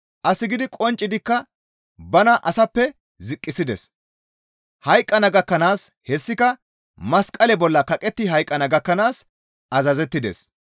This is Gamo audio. As gidi qonccidikka bana asappe ziqqisides; hayqqana gakkanaas hessika masqale bolla kaqetti hayqqana gakkanaas azazettides.